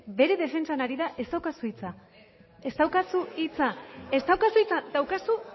bere defentsan ari da ez daukazu hitza ez daukazu hitza daukazu